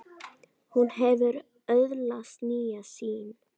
Hún hefur öðlast nýja sýn.